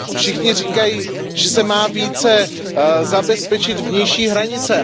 Všichni říkají, že se má více zabezpečit vnější hranice.